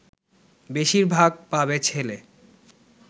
বেশির ভাগ পাবে ছেলে